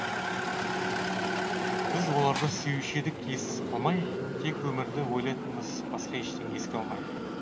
біз оларды сүюші едік ес қалмай тек өмірді ойлайтынбыз басқа ештеңе еске алмай